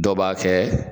Dɔw b'a kɛ